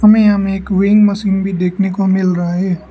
हमे यहां में विंग मशीन भी देखने को मिल रहा है।